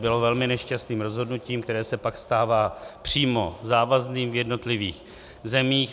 Bylo velmi nešťastným rozhodnutím, které se pak stává přímo závazným v jednotlivých zemích.